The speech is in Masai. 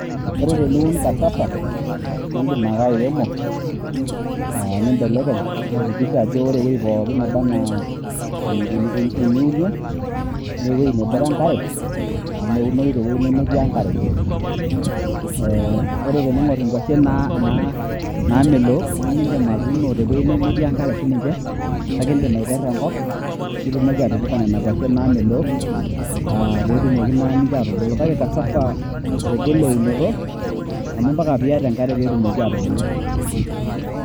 Ore teniun casava, niidim ake airemo nibelekeny niakikisha ajo ore ewoi pookin naba enaa eniunie, na ewoi nebore enkare, amu meunoyu tewoi nemetii enkare. Ore teniing'or inkwashen naamelook nimidin atuuno tewueji nemetii enkare sininche, kake iidim aperra enkop, nitumoki atipika nena kwashen naamelook, petumoki na ninche atubulu. Kake casava egol eunoto, amu mpaka piata enkare petumoki atubulu.